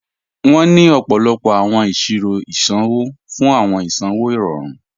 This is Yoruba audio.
Wọn ni ọ̀pọ̀lọ̀pọ̀ awọn iṣirò isanwọ̀ fún isanwọ̀ irọ̀run.